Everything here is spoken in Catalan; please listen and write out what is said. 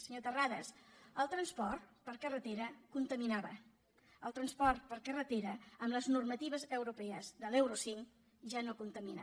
senyor terrades el transport per carretera contaminava el transport per carretera amb les normatives europees de l’euro cinc ja no contamina